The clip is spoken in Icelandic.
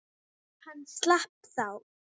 Hann slapp þá.